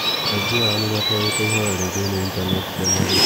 Aingĩ ao nĩ matũarĩte ihoya ria thĩinĩ intaneti cia marĩhi.